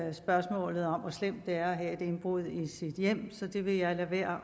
i spørgsmålet om hvor slemt det er at have indbrud i sit hjem så det vil jeg lade være